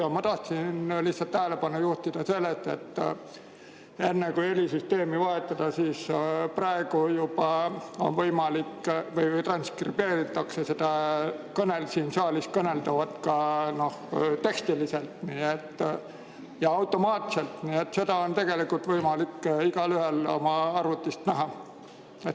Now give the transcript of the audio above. Aga ma tahtsin lihtsalt tähelepanu juhtida sellele, enne kui helisüsteemi vahetada, et juba praegu on võimalik või transkribeeritakse siin saalis kõneldavat ka tekstiliselt ja automaatselt, nii et seda on võimalik igalühel oma arvutist näha.